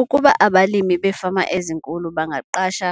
Ukuba abalimi beefama ezinkulu bangaqasha